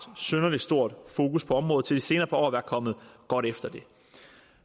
synderlig stort fokus på området til i de senere par år at være kommet godt efter det